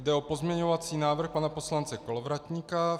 Jde o pozměňovací návrh pana poslance Kolovratníka.